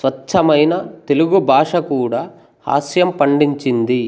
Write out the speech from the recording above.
స్వచ్ఛమైన తెలుగు భాష కూడా హాస్యం పండించింది